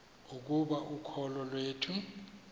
ukuba ukholo iwethu